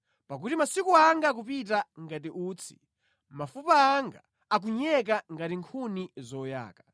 Pakuti masiku anga akupita ngati utsi; mafupa anga akunyeka ngati nkhuni zoyaka.